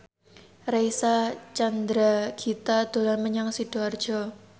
Reysa Chandragitta dolan menyang Sidoarjo